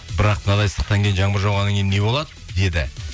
бірақ мынадай ыстықтан кейін жаңбыр жауғаннан кейін не болады деді